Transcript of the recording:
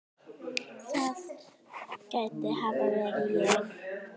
það gæti hafa verið ég